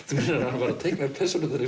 hann var að teikna persónurnar í